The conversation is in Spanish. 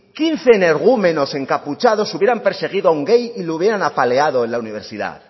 quince energúmenos encapuchados hubieran perseguido a un gay y lo hubieran apaleado en la universidad